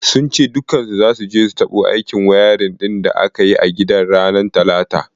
Sun ce dukkansu zasu je su dabu aikin wayarin din da aka yi a gidan ranar talata.